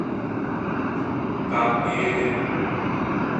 тампере